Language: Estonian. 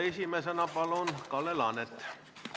Esimesena palun Kalle Laanet!